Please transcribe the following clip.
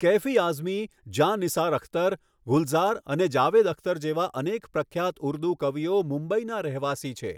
કૈફી આઝમી, જાં નિસાર અખ્તર, ગુલઝાર અને જાવેદ અખ્તર જેવા અનેક પ્રખ્યાત ઉર્દૂ કવિઓ મુંબઈના રહેવાસી છે.